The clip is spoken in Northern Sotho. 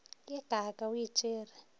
ye kaaka o e tšere